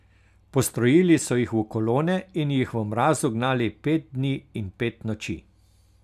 Postrojili so jih v kolone in jih v mrazu gnali pet dni in pet noči.